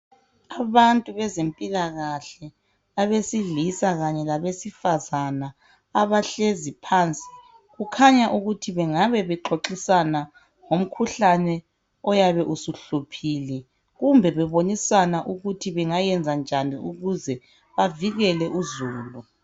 Abantu bezempilakahle abesilisa kanye labesifazane abahlezi phansi kukhanya ukuthi bengabe bexoxisana ngomkhuhlane oyabesuhluphile kumbe bebonisana ukuthi bengayenzanjani ukuze bavikele uzulu